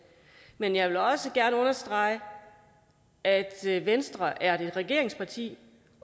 men jeg vil også gerne understrege at venstre er et regeringsparti